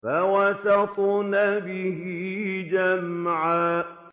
فَوَسَطْنَ بِهِ جَمْعًا